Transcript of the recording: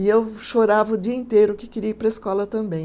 E eu chorava o dia inteiro que queria ir para a escola também.